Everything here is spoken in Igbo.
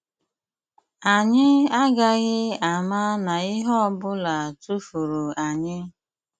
Anyị agaghị ama na ihe ọ bụla tụfuru anyị. '